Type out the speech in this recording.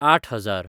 आठ हजार